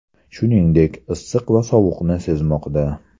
Shuningdek, issiq va sovuqni sezmoqda.